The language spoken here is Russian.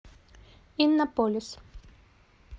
иннополис